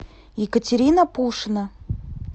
екатерина пушина